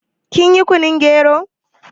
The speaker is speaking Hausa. Kin yi kunun gero?